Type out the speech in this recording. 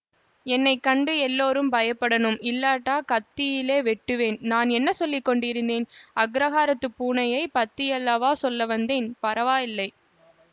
என்னை கண்டு எல்லோரும் பயப்படணும் இல்லாட்டா கத்தியிலெ வெட்டுவேன் நான் என்ன சொல்லி கொண்டிருக்கிறேன் அக்ரஹாரத்துப் பூனையைப் பத்தியல்லவா சொல்ல வந்தேன் பரவாயில்லை